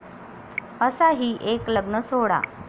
...असा ही एक लग्नसोहळा